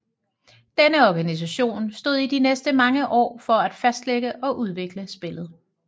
Denne organisation stod i de næste mange år for at fastlægge og udvikle spillet